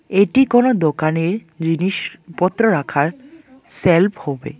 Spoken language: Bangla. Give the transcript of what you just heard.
এটি কোনো দোকানের জিনিসপত্র রাখার সেলফ হবে।